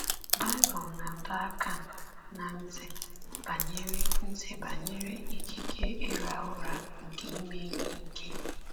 Baịbụl na-adọ aka ná ntị banyere ntị banyere ikike ịra ụra nke ime ihe ike.